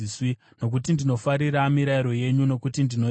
nokuti ndinofarira mirayiro yenyu nokuti ndinoida.